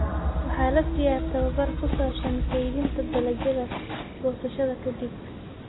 Waxa la siiyaa tababar ku saabsan kaydinta dalagyada goosashada ka dib.